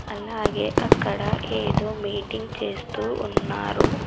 అలాగే అక్కడ ఏదో మీటింగ్ చేస్తూ ఉన్నారు.